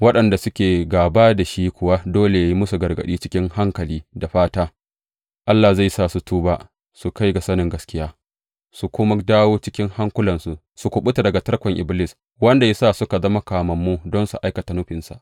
Waɗanda suke gāba da shi kuwa dole yă yi musu gargaɗi cikin hankali, da fata Allah zai sa su tuba su kai ga sanin gaskiya, su kuma dawo cikin hankulansu su kuɓuta daga tarkon Iblis, wanda ya sa suka zama kamammu don su aikata nufinsa.